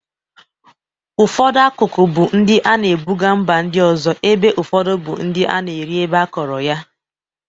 Ụfọdụ akụkụ bụ ndị a na-ebụga mba ndị ọzọ ebe ụfọdụ bụ ndị a na-eri ebe akọrọ ya.